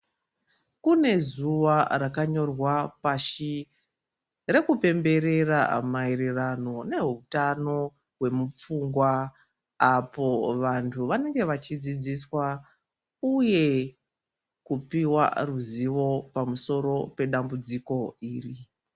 Kune zuwa rakanyorwa pashi rekupemberera maererano nehutano hwemupfungwa apo vantu vanenge vachidzidziswa uye kupuwa ruzivo pamusoro pedambudziko iri.